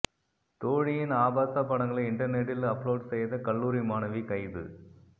தோழியின் ஆபாசப் படங்களை இன்டர்நெட்டில் அப்லோட் செய்த கல்லூரி மாணவி கைது